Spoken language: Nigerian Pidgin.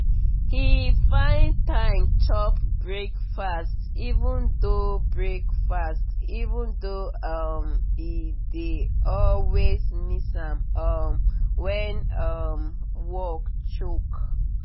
he find time chop breakfast even though breakfast even though um he dey always miss am um when um work choke.